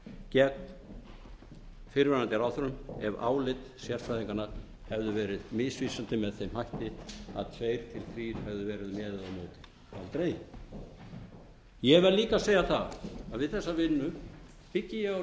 gegn fyrrverandi ráðherrum ef álit sérfræðinganna hefðu verið misvísandi með þeim hætti að tvö til þrjú hefðu verið með eða á móti aldrei ég verð líka að segja að við þessa vinnu byggi ég á